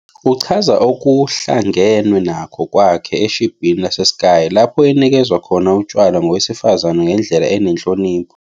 Uchaza okuhlangenwe nakho kwakhe eshibhini laseSky, lapho enikezwe khona utshwala ngowesifazane ngendlela enenhlonipho.